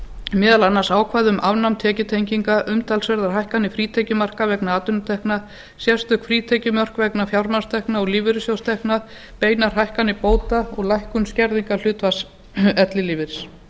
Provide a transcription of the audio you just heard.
meðal annars ákvæði um afnám tekjutenginga umtalsverðar hækkanir frítekjumarka vegna atvinnutekna sérstök frítekjumörk vegna fjármagnstekna og lífeyrissjóðstekna beinar hækkanir bóta og lækkun skerðingarhlutfalls ellilífeyris